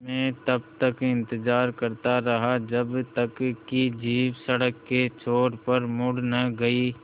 मैं तब तक इंतज़ार करता रहा जब तक कि जीप सड़क के छोर पर मुड़ न गई